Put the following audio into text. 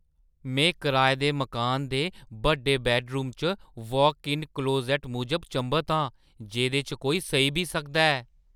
मैं कराए दे मकानै दे बड्डे बैड्डरूम च वाक-इन क्लोज़ैट्ट मूजब चंभत आं, जेह्‌दे च कोई सेई बी सकदा ऐ।